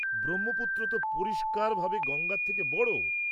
ব্রহ্মপুত্র তো পরিষ্কারভাবে গঙ্গার থেকে বড়।